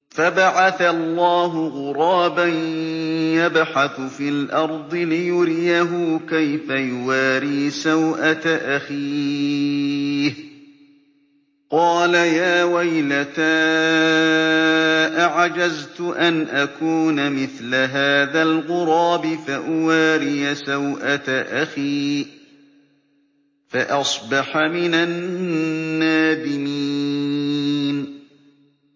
فَبَعَثَ اللَّهُ غُرَابًا يَبْحَثُ فِي الْأَرْضِ لِيُرِيَهُ كَيْفَ يُوَارِي سَوْءَةَ أَخِيهِ ۚ قَالَ يَا وَيْلَتَا أَعَجَزْتُ أَنْ أَكُونَ مِثْلَ هَٰذَا الْغُرَابِ فَأُوَارِيَ سَوْءَةَ أَخِي ۖ فَأَصْبَحَ مِنَ النَّادِمِينَ